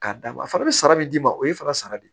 K'a d'a ma a fana bɛ sara min d'i ma o ye fana sara de ye